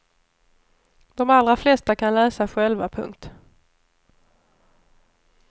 De allra flesta kan läsa själva. punkt